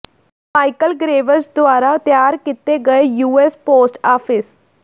Michael Graves ਦੁਆਰਾ ਤਿਆਰ ਕੀਤੇ ਗਏ ਯੂਐਸ ਪੋਸਟ ਆਫਿਸ